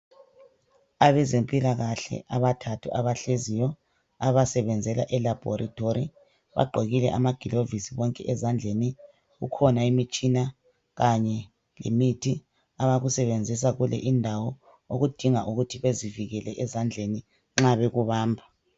Abezempilakahle abathathu abahleziyo abasebenzela elabhorethi. Bagqokile amagilavisi bonke ezandleni. Kukhona imitshina kanye lemithi abayisebenzisa kule indawo okudinga ukuthi bazivikele ezandleni nxa bekubamba.